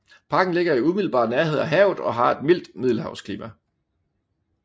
Parken ligger i umiddelbar nærhed af havet og har et mildt middelhavsklima